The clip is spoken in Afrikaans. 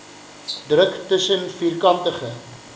druk tussen vierkantige